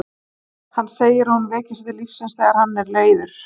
Hann segir að hún veki sig til lífsins þegar hann er leiður.